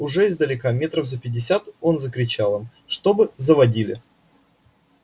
уже издалека метров за пятьдесят он закричал им чтобы заводили